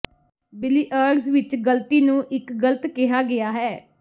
billiards ਵਿੱਚ ਗਲਤੀ ਨੂੰ ਇੱਕ ਗਲਤ ਕਿਹਾ ਗਿਆ ਹੈ